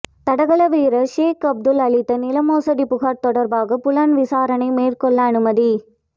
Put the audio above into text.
தடகள வீரர் ஷேக் அப்துல் அளித்த நிலமோசடி புகார் தொடர்பாக புலன் விசாரணை மேற்கொள்ள அனுமதி